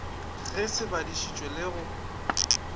ge se badišitšwe le go